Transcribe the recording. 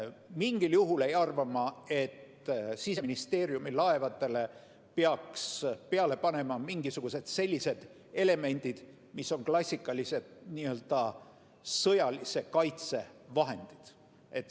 Mingil juhul ei arva ma, et Siseministeeriumi laevadele peaks peale panema mingisugused sellised elemendid, mis on klassikalised sõjalise kaitse vahendid.